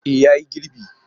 E ya yi girbi.